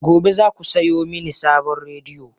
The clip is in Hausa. Gobe, za ku saya mini sabon rediyo!